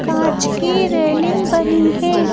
कांच की रेलिंग बनी है।